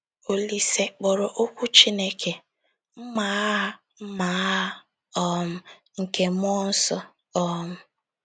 Olise kpọrọ okwu Chineke “mma agha “mma agha um nke mmụọ nsọ.” um